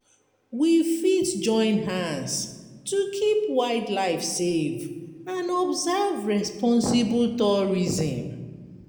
We fit join hand to keep wild life safe and observe responsible tourism